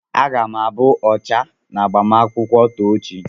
Aga m abụ ọchà n'agbamakwụkwọ Tochi.